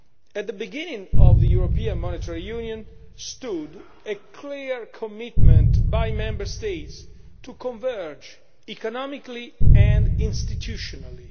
At the beginning of the European Monetary Union stood a clear commitment by Member States to converge economically and institutionally.